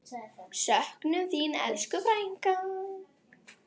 Söknum þín, elsku frænka.